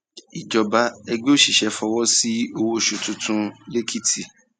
ìjọba ẹgbẹ òṣìṣẹ fọwọ sí owó oṣù tuntun lẹkìtì